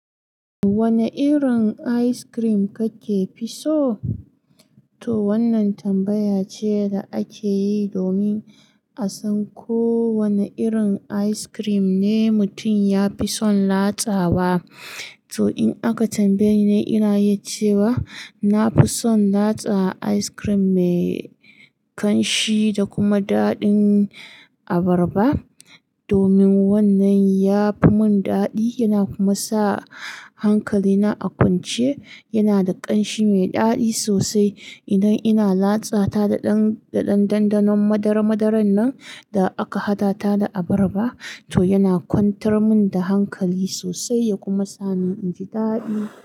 Wane irin ice cream kake fi so? To wannan tambaya ce da ake yi domin a san ko wane irin ice cream ne mutum ya fi son latsa wa. To in aka tambaye ni, ina iyi cewa na fi son latsa ice cream mai ƙanshi da kuma daɗin abarba. Domin wannan ya fi mun daɗi yana kuma sa hankalina a kwance. Yana da ƙanshi mai daɗi sosai. Idan ina latsa ta da ɗanɗanɗanon madara-madaran nan da aka hada ta da abarba, to yana kwantar mun da hankali sosai ya kuma sa ni inji daɗi.